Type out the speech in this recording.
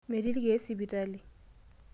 Metii ilkeek sipitali.